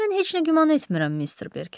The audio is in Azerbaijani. mən heç nə güman etmirəm, Mister Berker.